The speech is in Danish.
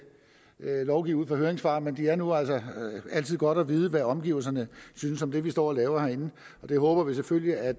lovgive ud fra høringssvar men det er nu altså altid godt at vide hvad omgivelserne synes om det vi står og laver herinde vi håber selvfølgelig at